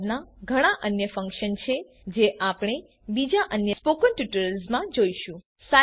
સાઈલેબના ઘણા અન્ય ફન્કશન છે જે આપણે બીજા અન્ય સ્પોકન ટ્યુટોરિયલ્સ માં જોઈશું